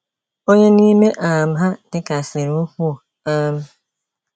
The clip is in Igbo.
Onye n'ime um ha dịkasịrị ukwuu. um